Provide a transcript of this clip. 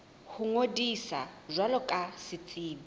ho ngodisa jwalo ka setsebi